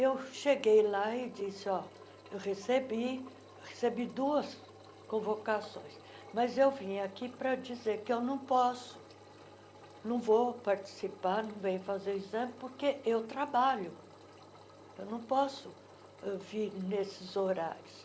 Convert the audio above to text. Eu cheguei lá e disse ó eu recebi recebi duas convocações, mas vim aqui para dizer que eu não posso não vou participar, não venho fazer o exame, porque eu trabalho, eu não posso vir nesses horários.